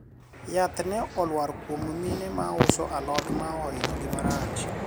yath ne olwar kuom mine ma uso alot ma ahinyo gi marach